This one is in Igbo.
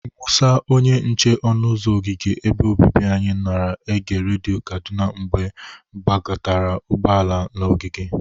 Mụsa, onye nche ọnụ ụzọ ogige ebe obibi anyị, nara ege redio Kaduna mgbe gbabatara ụgbọala m n'ogige.